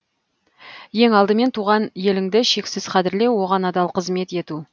ең алдымен туған еліңді шексіз қадірлеу оған адал қызмет ету